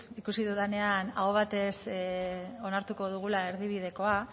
ikusi dudanean aho batez onartuko dugula erdibidekoa